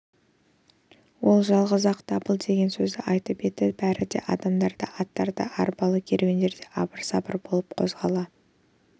ол жалғыз-ақ дабыл деген сөзді айтып еді бәріде адамдар да аттар да арбалы керуендер де абыр-сабыр болып қозғала